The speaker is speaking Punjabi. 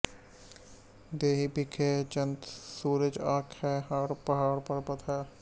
ਦੇਹੀ ਬਿਖੈ ਚੰਦੁ ਸੂਰਜ ਅਖੀ ਹੈ ਹਾਡ ਪਹਾੜ ਪਰਬਤ ਹੈ